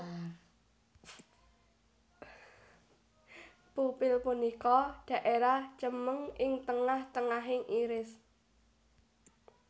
Pupil punika daerah cemeng ing tengah tengahing iris